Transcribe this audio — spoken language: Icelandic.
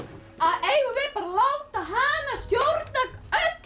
eigum við bara að láta hana stjórna öllu